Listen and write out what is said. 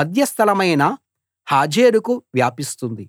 మధ్యస్థలమైన హాజేరుకు వ్యాపిస్తుంది